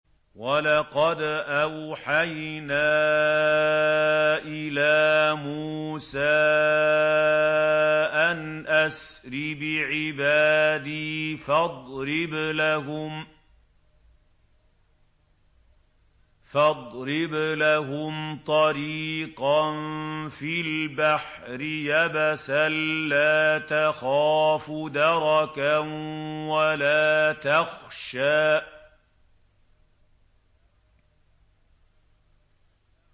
وَلَقَدْ أَوْحَيْنَا إِلَىٰ مُوسَىٰ أَنْ أَسْرِ بِعِبَادِي فَاضْرِبْ لَهُمْ طَرِيقًا فِي الْبَحْرِ يَبَسًا لَّا تَخَافُ دَرَكًا وَلَا تَخْشَىٰ